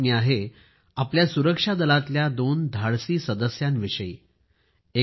ही बातमी आहे आपल्या सुरक्षा दलातल्या दोन अतिशय धाडसी सदस्यांविषयी आहे